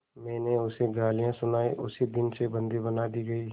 मैंने उसे गालियाँ सुनाई उसी दिन से बंदी बना दी गई